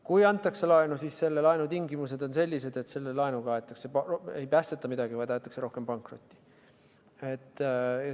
Kui antakse laenu, siis selle laenu tingimused on sellised, et selle laenuga ei päästeta midagi, vaid aetakse rohkem pankrotti.